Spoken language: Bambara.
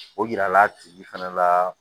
O yira la a tigi fɛnɛ la